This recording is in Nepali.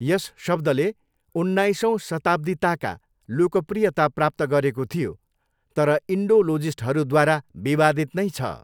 यस शब्दले उन्नाइसौँ शताब्दीताका लोकप्रियता प्राप्त गरेको थियो तर इन्डोलोजिस्टहरूद्वारा विवादित नै छ।